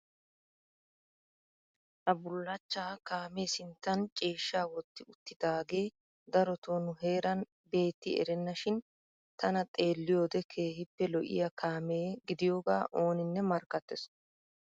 Ha bullachchaa kaamee sinttan ciishshaa wotti uttidaagee darotoo nu heeran beetti erenna shin tana xeelliyo wode keehippe lo'iya kaame gidiyogaa ooninne markkattees.